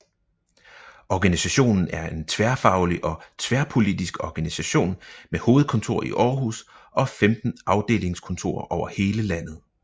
Organisationen er en tværfaglig og tværpolitisk organisation med hovedkontor i Aarhus og 15 afdelingskontorer over hele landet